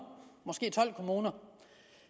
måske tolv kommuner